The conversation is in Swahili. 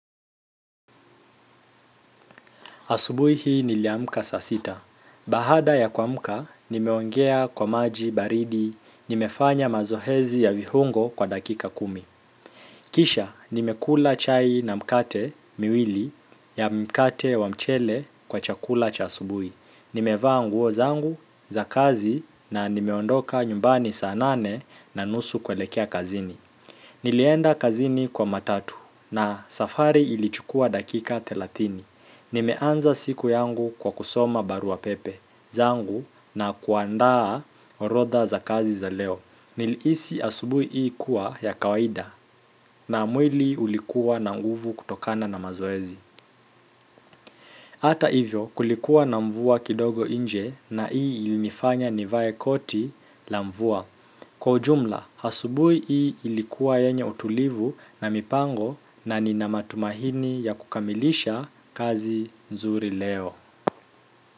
Asubuhi hii niliamuka saa sita. Bahada ya kuamuka, nimeongea kwa maji baridi, nimefanya mazoezi ya viungo kwa dakika kumi. Kisha, nimekula chai na mkate miwili ya mkate wa mchele kwa chakula cha asubuhi. Nimevaa nguo zangu za kazi na nimeondoka nyumbani saa nane na nusu kuelekea kazini. Nilienda kazini kwa matatu na safari ilichukua dakika telathini. Nimeanza siku yangu kwa kusoma baruapepe zangu na kuandaa orodha za kazi za leo nilihisi asubuhi hii kuwa ya kawaida na mwili ulikuwa na nguvu kutokana na mazoezi hata hivyo kulikuwa na mvua kidogo inje na hii ilinifanya nivae koti la mvua kwa ujumla, asubuhi hii ilikuwa yenye utulivu na mipango na nina matumaini ya kukamilisha kazi nzuri leo.